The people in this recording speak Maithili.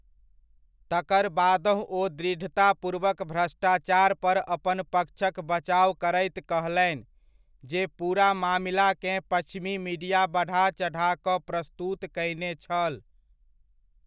तकर बादहुँ ओ दृढ़तापूर्वक भ्रष्टाचार पर अपन पक्षक बचाव करैत कहलनि, जे पूरा मामिलाकेँ पच्छिमी मीडिया बढ़ा चढ़ा कऽ प्रस्तुत कयने छल।